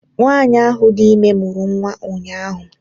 Nwanyị ahụ dị ime mụrụ nwa ụnyahụ